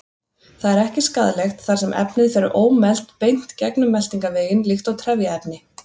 Það er ekki skaðlegt þar sem efnið fer ómelt beint gegnum meltingarveginn líkt og trefjaefni.